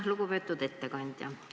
Lugupeetud ettekandja!